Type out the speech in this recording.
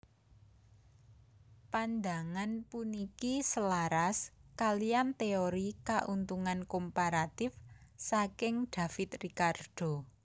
Pandangan puniki selaras kaliyan téori Kauntungan Komparatif saking David Ricardo